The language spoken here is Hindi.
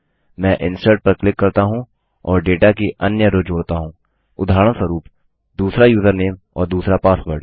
मैं इंसर्ट पर क्लिक करता हूँ और डेटा की अन्य रो जोड़ता हूँ उदाहरणस्वरूप दूसरा यूजरनेम और दूसरा पासवर्ड